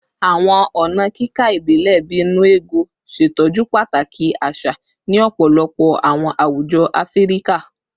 Awọn ọna kika ibilẹ bii “nnu ego” ṣetọju pataki aṣa ni ọpọlọpọ awọn awujọ Afirika